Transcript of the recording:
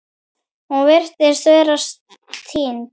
Hún virtist vera týnd